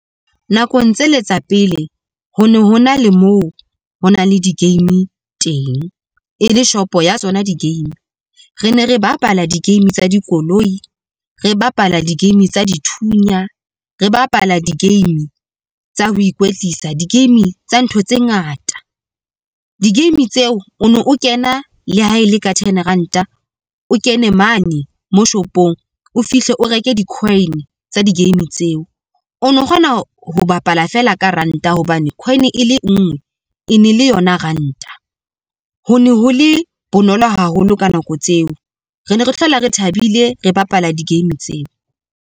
Nakong tsele tsa pele ho ne ho nna le moo ho na le di-game teng, e le shopo ya tsona di-game. Re ne re bapala di-game tsa dikoloi re bapala di-game tsa dithunya, re bapala di-game tsa ho ikwetlisa. Di-game tsa ntho tse ngata, di-game tseo o ne o kena le ha e le ka ten ranta. O kene mane mo shopong, o fihle o reke di-coin tsa di-game tseo. O ne o kgona ho bapala feela ka ranta hobane coin e le nngwe e ne le yona ranta. Ho ne ho le bonolo haholo ka nako tseo. Re ne re hlola re thabile, re bapala di-game tseo.